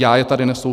Já je tady nesu.